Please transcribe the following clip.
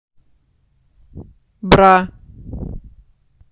бра